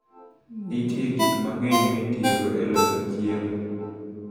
Nitie gik mang'eny mitiyogo e loso chiemo.